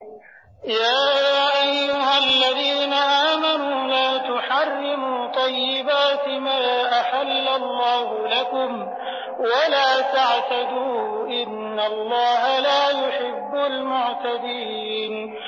يَا أَيُّهَا الَّذِينَ آمَنُوا لَا تُحَرِّمُوا طَيِّبَاتِ مَا أَحَلَّ اللَّهُ لَكُمْ وَلَا تَعْتَدُوا ۚ إِنَّ اللَّهَ لَا يُحِبُّ الْمُعْتَدِينَ